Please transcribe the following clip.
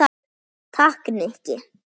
Takk, Nikki